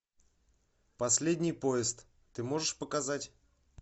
последний поезд ты можешь показать